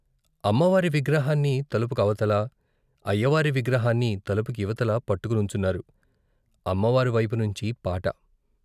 అమ్మవారి విగ్రహాన్ని తలుపుకు అవతల అయ్యవారి విగ్రహాన్ని తలుపుకు ఇవతల పట్టుకునుంచున్నారు అమ్మవారి వైపు నుంచి పాట.